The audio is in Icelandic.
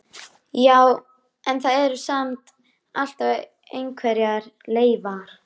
Já, en það eru samt alltaf einhverjar leifar.